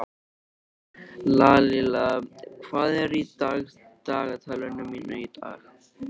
Lalíla, hvað er í dagatalinu mínu í dag?